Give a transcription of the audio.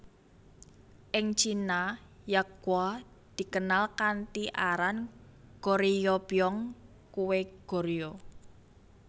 Ing Cina yakgwa dikenal kanthi aran Goryeobyeong kue Goryeo